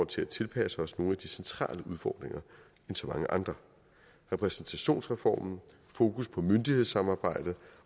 til at tilpasse os nogle af de centrale udfordringer end så mange andre repræsentationsreformen fokus på myndighedssamarbejde